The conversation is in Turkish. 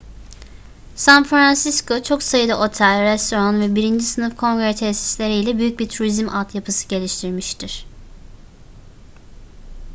san francisco çok sayıda otel restoran ve birinci sınıf kongre tesisleri ile büyük bir turizm altyapısı geliştirmiştir